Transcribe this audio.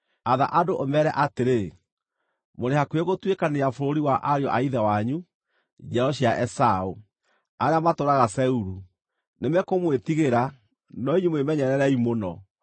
Atha andũ, ũmeere atĩrĩ: ‘Mũrĩ hakuhĩ gũtuĩkanĩria bũrũri wa ariũ a ithe wanyu, njiaro cia Esaũ, arĩa matũũraga Seiru. Nĩmekũmwĩtigĩra, no inyuĩ mwĩmenyererei mũno.